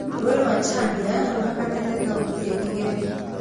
Rũũĩ rwa chania rũhakanĩtie kautĩ igĩrĩ